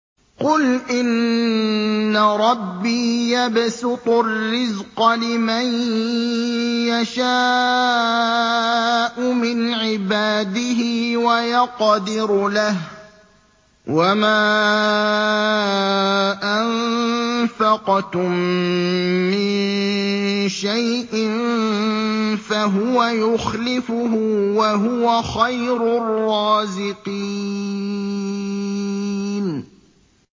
قُلْ إِنَّ رَبِّي يَبْسُطُ الرِّزْقَ لِمَن يَشَاءُ مِنْ عِبَادِهِ وَيَقْدِرُ لَهُ ۚ وَمَا أَنفَقْتُم مِّن شَيْءٍ فَهُوَ يُخْلِفُهُ ۖ وَهُوَ خَيْرُ الرَّازِقِينَ